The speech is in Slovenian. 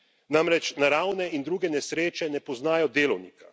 Namreč, naravne in druge nesreče ne poznajo delovnika.